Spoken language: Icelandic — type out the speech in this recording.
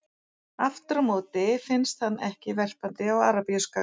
Aftur á móti finnst hann ekki verpandi á Arabíuskaga.